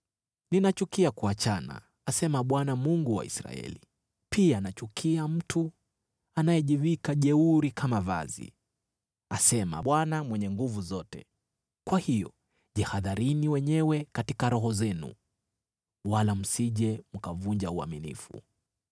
“Ninachukia kuachana,” asema Bwana , Mungu wa Israeli, “pia nachukia mtu anayejivika jeuri kama vazi,” asema Bwana Mwenye Nguvu Zote. Kwa hiyo jihadharini wenyewe katika roho zenu, wala msije mkavunja uaminifu.